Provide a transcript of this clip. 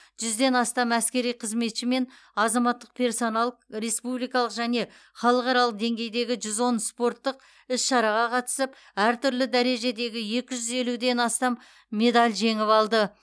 жүзден астам әскери қызметші мен азаматтық персонал республикалық және халықаралық деңгейдегі жүз он спорттық іс шараға қатысып әр түрлі дәрежедегі екі жүз елуден астам медал жеңіп алды